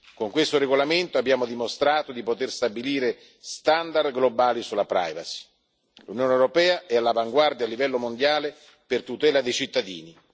Con questo regolamento abbiamo dimostrato di poter stabilire standard globali sulla privacy e l'Unione europea è all'avanguardia a livello mondiale per la tutela dei cittadini.